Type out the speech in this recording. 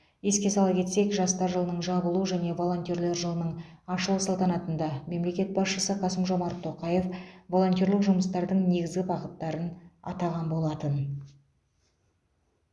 еске сала кетсек жастар жылының жабылу және волонтерлер жылының ашылу салтанатында мемлекет басшысы қасым жомарт тоқаев волонтерлік жұмыстардың негізгі бағыттарын атаған болатын